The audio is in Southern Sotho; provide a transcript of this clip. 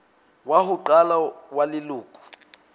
wa ho qala wa leloko